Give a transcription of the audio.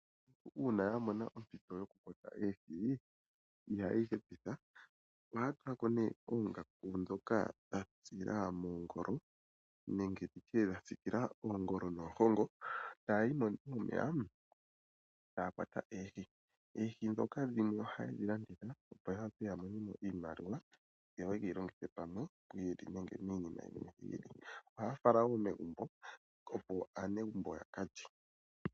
Uuna aantu ya mona ompito yoku kwata oohi ihaye yi hepitha. ohaya tula ko ihe oongaku ndhoka dha tsa moongolo nenge ndi tye dha siikila oongolo nohongo e taya yi momeya e taya kwata oohi. Oohi ndhoka dhimwe ohaye dhi landitha, opo ya wape ya monene mo iimaliwa yo ye yi longithe pamwe pwi ili nenge miinima yimwe yi ili. Ohaya fala wo megumbo, opo aanegumbo yaka lye.